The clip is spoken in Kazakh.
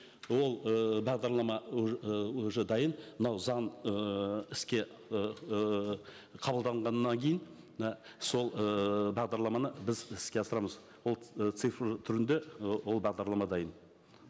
ол ііі бағдарлама і уже дайын мынау заң ыыы іске ыыы қабылданғаннан кейін мына сол ыыы бағдарламаны біз іске асырамыз ол ы цифр түрінде ы ол бағдарлама дайын